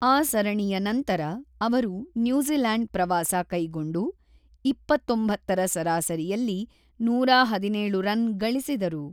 ಆ ಸರಣಿಯ ನಂತರ ಅವರು ನ್ಯೂಜಿಲೆಂಡ್ ಪ್ರವಾಸ ಕೈಗೊಂಡು, ೨೯ರ ಸರಾಸರಿಯಲ್ಲಿ ೧೧೭ರನ್ ಗಳಿಸಿದರು.